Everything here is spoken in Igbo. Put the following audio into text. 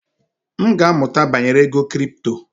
M ga-amụta banyere ego kripto.